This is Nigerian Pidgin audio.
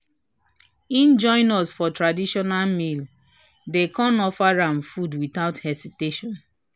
he join us for traditional meal dem kan offer am food without hesitation."